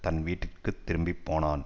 தன் வீட்டுக்கு திரும்பி போனான்